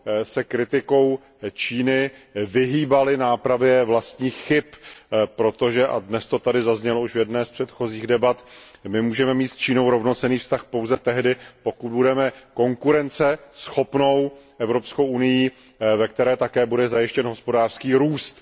se kritikou Číny vyhýbali nápravě vlastních chyb, protože a dnes to tady zaznělo už v jedné z předchozích debat my můžeme mít s Čínou rovnocenný vztah pouze tehdy, pokud budeme konkurenceschopnou Evropskou unií, ve které bude také zajištěn hospodářský růst.